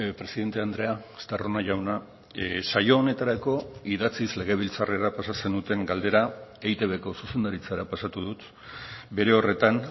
presidente andrea estarrona jauna saio honetarako idatziz legebiltzarrera pasa zenuten galdera eitbko zuzendaritzara pasatu dut bere horretan